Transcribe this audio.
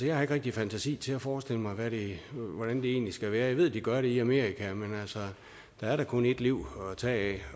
jeg har ikke rigtig fantasi til at forestille mig hvordan det egentlig skal være jeg ved at de gør det i amerika men der er da kun et liv at tage